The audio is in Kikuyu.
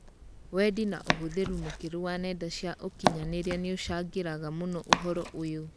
Wendi na ũhũthĩrĩ mũkĩrũ wa nenda cia ũkinyanĩrĩa nĩucangĩraga mũno ũhoro ũyũ